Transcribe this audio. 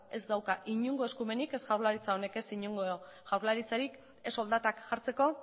ez dauka inongo eskumenik ez jaurlaritzak honek ez inongo jaurlaritzarik ez soldatak jartzeko